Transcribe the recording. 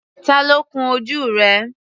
Tá ló kún ojú rẹ̀?